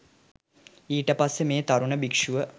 ඊටපස්සේ මේ තරුණ භික්ෂුව